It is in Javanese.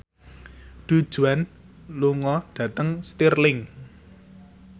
Du Juan lunga dhateng Stirling